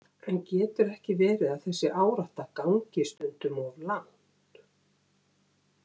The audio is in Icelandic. En getur ekki verið að þessi árátta gangi stundum of langt?